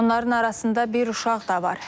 Onların arasında bir uşaq da var.